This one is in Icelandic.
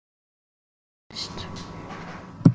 Já, alla vega mest.